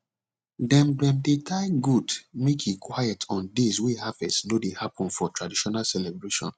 dem dem dey tie goat make e quiet on days wey harvest no dey happen for traditional celebration